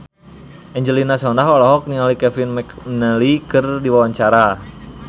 Angelina Sondakh olohok ningali Kevin McNally keur diwawancara